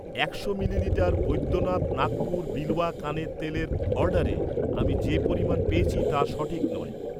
একশো মিলিলিটার বৈদ্যনাথ নাগপুর বিলওয়া কানের তেলের অর্ডারে আমি যে পরিমাণ পেয়েছি তা সঠিক নয়।